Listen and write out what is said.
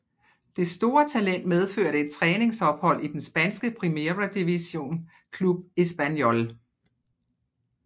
Det store talent medførte et træningsophold i den spanske Primera Division klub Espanyol